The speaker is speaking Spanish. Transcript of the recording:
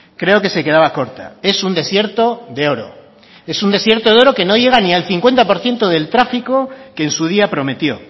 creo que se quedaba corta es un desierto de oro es un desierto de oro que no llega ni al cincuenta por ciento del tráfico que en su día prometió